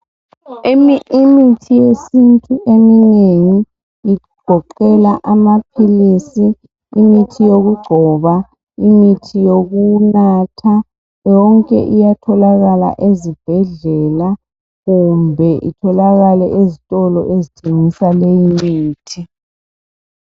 Imithi yesintu eminengi igoqela amaphilisi imithi yokugcoba imithi yokunatha yonke iyatholakala ezibhedlela kumbe itholakale ezitolo ezitshengisa leyimithi